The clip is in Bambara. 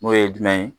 N'o ye jumɛn ye